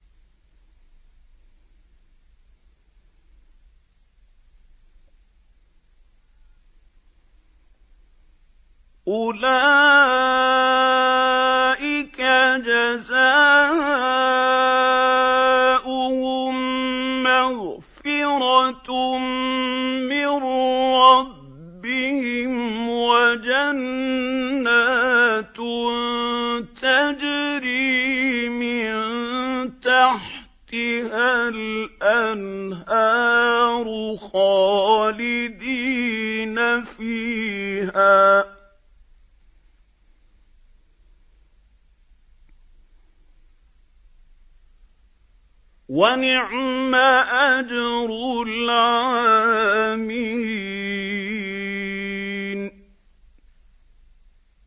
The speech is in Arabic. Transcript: أُولَٰئِكَ جَزَاؤُهُم مَّغْفِرَةٌ مِّن رَّبِّهِمْ وَجَنَّاتٌ تَجْرِي مِن تَحْتِهَا الْأَنْهَارُ خَالِدِينَ فِيهَا ۚ وَنِعْمَ أَجْرُ الْعَامِلِينَ